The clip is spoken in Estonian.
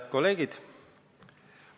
Head kolleegid!